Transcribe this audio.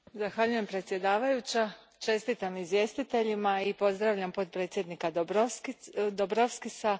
Zahvaljujem predsjedavajućoj, čestitam izvjestiteljima i pozdravljam potpredsjednika Dombrovskisa.